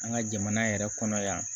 An ka jamana yɛrɛ kɔnɔ yan